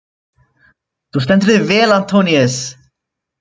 Þú stendur þig vel, Antoníus!